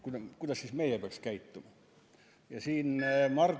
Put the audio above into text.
Kuidas meie peaks siis käituma?